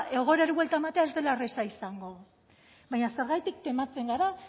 egoerari buelta ematea ez dela erreza izango baina zergatik tematzen gara